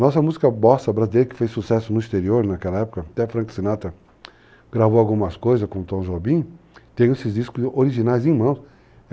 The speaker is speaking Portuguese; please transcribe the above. Nossa música Bossa Brasileira, que fez sucesso no exterior naquela época, até Frank Sinatra gravou algumas coisas com o Tom Jobim, tem esses discos originais em mão.